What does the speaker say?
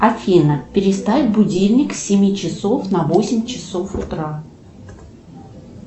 афина переставь будильник с семи часов на восемь часов утра